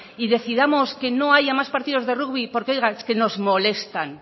y decidamos que no haya más partidos de rugby porque oiga es que nos molestan